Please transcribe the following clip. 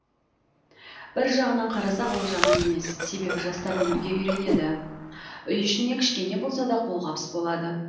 бір жағынан қарасақ ол жаман емес себебі жастар өмірге үйренеді үй ішіне кішкене болса да қолғабыс болады